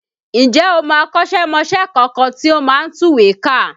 Ǹjẹ́ o mọ akọ́ṣẹ́mọṣẹ́ kankan tí ó máa ń tùwèé kà?